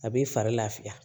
A b'i fari lafiya